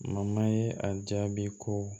ye a jaabi ko